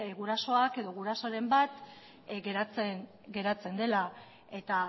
gurasoak edo gurasoren bat geratzen dela eta